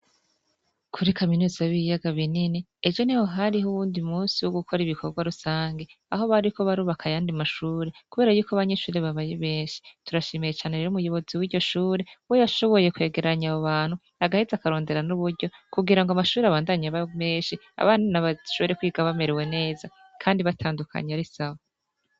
Kuri kaminuza b'ibiyaga binini ejo ni ho hariho uwundi munsi wo gukora ibikorwa rusange aho bariko barubakaye andi mashure kubera y'uko abanyeshuri babaye benshi turashimiye ichaniir muyobozi w'iryo shure we yashoboye kwegeranya abo bantu agahite akarondera n'uburyo kubgira ngo amashuri abandanye bmenshi abana n' bashure kwiga bameriwe neza kandi batandukanye ari sawa.